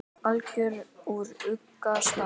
álögin úr ugga stað